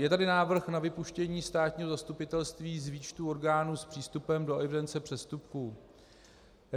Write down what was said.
Je tady návrh na vypuštění státního zastupitelství z výčtu orgánů s přístupem do evidence přestupků.